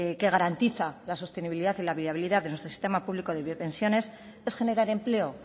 que garantiza la sostenibilidad y la viabilidad del sistema público de pensiones es generar empleo